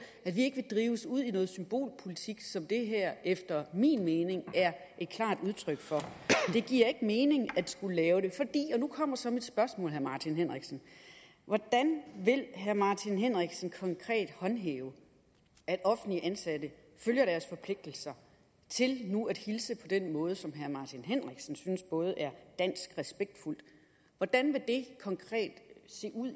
at vi ikke vil drives ud i noget symbolpolitik som det her efter min mening er et klart udtryk for det giver ikke mening at skulle lave det og nu kommer så mit spørgsmål til herre martin henriksen hvordan vil herre martin henriksen konkret håndhæve at offentligt ansatte følger deres forpligtelser til nu at hilse på den måde som herre martin henriksen synes er både dansk og respektfuld hvordan vil det konkret se ud i